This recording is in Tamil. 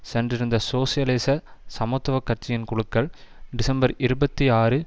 சென்றிருந்த சோசியலிச சமத்துவ கட்சியின் குழுக்கள் டிசம்பர் இருபத்தி ஆறு